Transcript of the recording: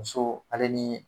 Muso ale ni